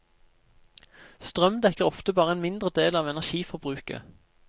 Strøm dekker ofte bare en mindre del av energiforbruket.